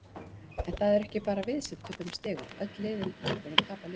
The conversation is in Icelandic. En það eru ekki bara við sem töpum stigum, öll liðin í deildinni tapa líka.